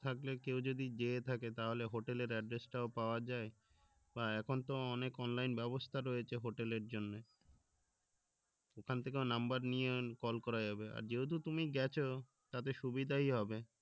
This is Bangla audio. থাকলে কেউ যদি যেয়ে থাকে তাহলে hotel এর address টাও পাওয়া যায় বা এখন তো অনেক online ব্যবস্থা রয়েছে hotel এর জন্যে ওখান থেকে number নিয়ে call করা যাবে আর যেহেতু তুমি গেছো তাতে সুবিধাই হবে